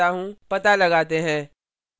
पता लगाते हैं